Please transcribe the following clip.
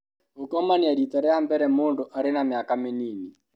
Gũkomania rita rĩa mbere mũndũ arĩ na mĩaka mĩnini.